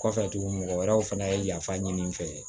Kɔfɛ tuguni mɔgɔ wɛrɛw fana ye yafa ɲini n fɛ